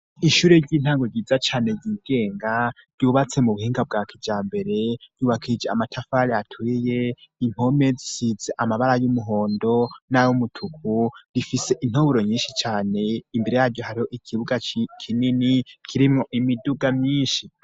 Ishure ry'intango ryiza cane ryigenga ryubatse mu buhinga bwa kija mbere yubakije amatafali atuiye impome zisize amabara y'umuhondo n'ayoumutuku rifise intoburo nyinshi cane imbere yaryo hariho ikibuga kinini kirimwo imiduga myinshi.